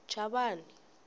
chavani